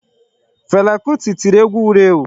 Fela kuti tiri egwu wuru ewu.